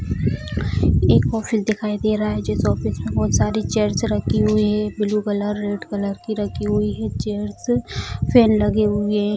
एक ऑफिस दिखाई दे रहा है जिस ऑफिस में बहुत सारी चेयर्स रखी हुई है ब्लू कलर रेड कलर की रखी हुई है चेयर्स फैन लगे हुए है।